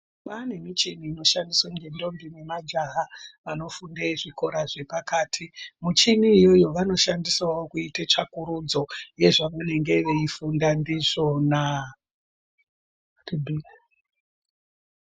Kwaane michini inoshandiswa nendombi nemajaha vanofunde zvikora zvepakati, michini iyoyo vanoshandisawo kuite tsvakurudzo yezvevanenge veifunda ndizvona.